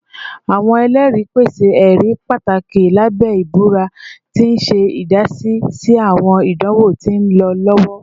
Awọn ẹlẹri pese ẹri pataki labẹ ibura, ti n ṣe idasi si awọn idanwo ti nlọ lọwọ